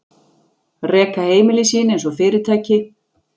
Reka heimili sín einsog fyrirtæki.